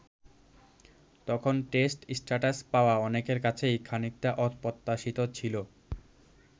তখন test status পাওয়া অনেকের কাছেই খানিকটা অপ্রত্যাশিত ছিল।